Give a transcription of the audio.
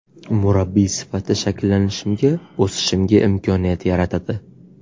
Murabbiy sifatida shakllanishimga, o‘sishimga imkoniyat yaratadi.